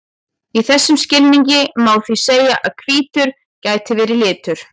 Í þessum skilningi má því segja að hvítur geti verið litur.